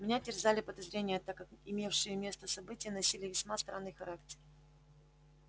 меня терзали подозрения так как имевшие место события носили весьма странный характер